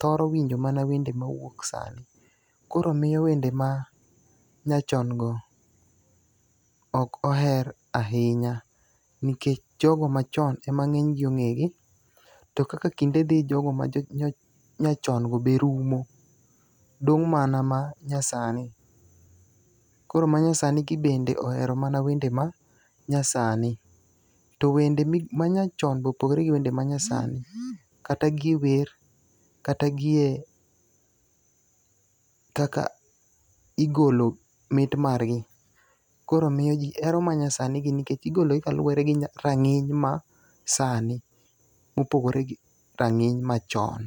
thoro winjo mana wend mowuok sani. Koro miyo wende ma nyachon go ok oher ahinya. Nikech jogo machon e ma ng'eny gi ong'e gi. To kaka kinde dhi, jogo ma nyachon go be rumo dong' mana ma nyasani. Koro ma nyasani gi bende ohero mana wende ma nyasani. To wende ma nyachon go bopogore gi wende ma nyasani. Kata gi wer, kata gie kaka igolo mit margi. Koro miyo ji hero ma nyasani gi nikech igologi kaluwore gi tang'ing ma sani kopogore gi rang'iny machon.